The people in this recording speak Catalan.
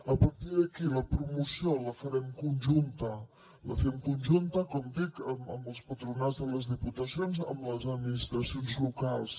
a partir d’aquí la promoció la farem conjunta la fem conjunta com dic amb els patronats de les diputacions amb les administracions locals